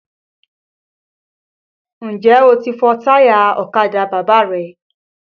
Ǹjẹ́ o ti fọ táyà ọ̀kadà Bàbá rẹ?